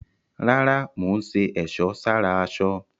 Rárá, mò ń ṣe ẹ̀sọ́ sára aṣọ